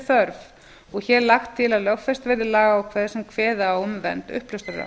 þörf og hér lagt til að lögfest verði lagaákvæði sem kveða á um vernd